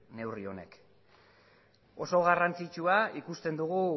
neurri honek oso garrantzitsua ikusten dugu